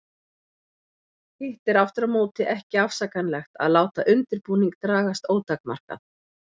Hitt er aftur á móti ekki afsakanlegt að láta undirbúning dragast ótakmarkað.